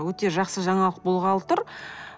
өте жақсы жаңалық болғалы тұр